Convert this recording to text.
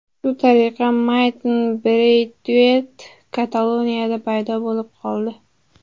Shu tariqa Martin Breytueyt Kataloniyada paydo bo‘lib qoldi.